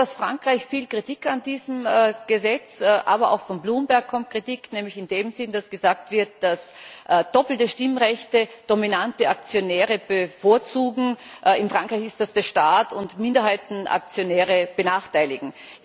Es kommt aus Frankreich viel Kritik an diesem Gesetz, aber auch von Bloomberg kommt Kritik, nämlich in dem Sinn, dass gesagt wird, dass doppelte Stimmrechte dominante Aktionäre bevorzugen in Frankreich ist das der Staat und Minderheitenaktionäre benachteiligen.